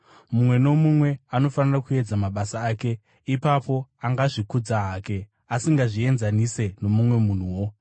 Mumwe nomumwe anofanira kuedza mabasa ake. Ipapo angazvikudza hake, asingazvienzanise nomumwe munhuwo,